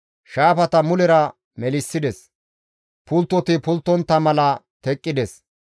Shaafata mulera melissides; pulttoti pulttontta mala teqqides.